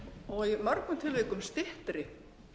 og í mörgum tilvikum styttri